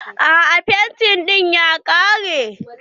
A'a fenti ɗin ya ƙare.